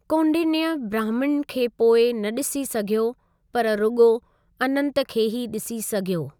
कौंडिन्‍य ब्राह्मिन खे पोइ न ॾिसी सघियो पर रुॻो अनंत खे ही ॾिसी सघियो।